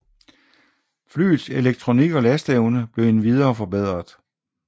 Flyets elektronik og lasteevne blev endvidere forbedret